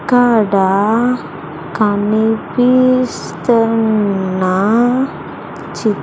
అక్కడ కనిపిస్తున్న చి--